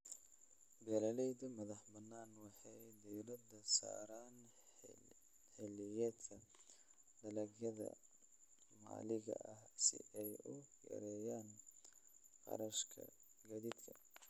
Beeralayda madaxa bannaan waxay diiradda saaraan xilliyeedka, dalagyada maxalliga ah si ay u yareeyaan kharashka gaadiidka.